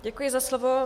Děkuji za slovo.